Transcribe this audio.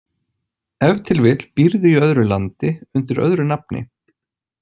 Ef til vill býrðu í öðru landi undir öðru nafni.